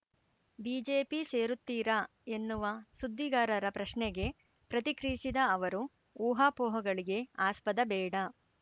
BJP ಸೇರುತ್ತೀರಾ ಎನ್ನುವ ಸುದ್ದಿಗಾರರ ಪ್ರಶ್ನೆಗೆ ಪ್ರತಿಕ್ರಿಯಿಸಿದ ಅವರು ಊಹಾಪೋಹಗಳಿಗೆ ಆಸ್ಪದ ಬೇಡ